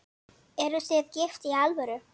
Eruð þið gift í alvöru?